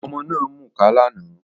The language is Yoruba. Ọmọ náà ń mukà lánàá